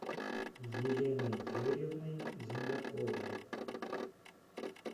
еленой юрьевной земляковой